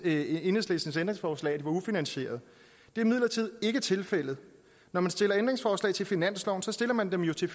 i enhedslistens ændringsforslag var ufinansieret det er imidlertid ikke tilfældet når man stiller ændringsforslag til finansloven stiller man dem jo til